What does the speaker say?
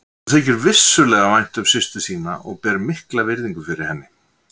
Honum þykir vissulega vænt um systur sína og ber mikla virðingu fyrir henni.